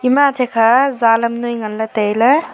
ema athe kha zalam noi nganley tailey.